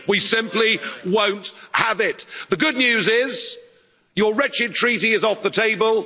We simply won't have it. The good news is your wretched treaty is off the table.